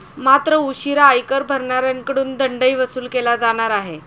मात्र, उशिरा आयकर भरणाऱ्यांकडून दंडही वसूल केला जाणार आहे.